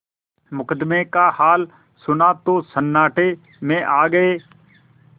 मुकदमे का हाल सुना तो सन्नाटे में आ गये